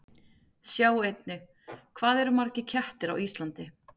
Sjá einnig: Hvað eru margir kettir á Íslandi?